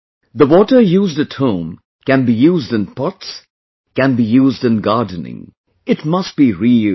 The water used at home can be used in pots, can be used in gardening, it must be reused